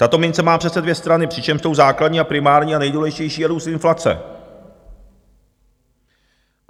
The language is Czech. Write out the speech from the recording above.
Tato mince má přece dvě strany, přičemž tou základní a primární a nejdůležitější je růst inflace.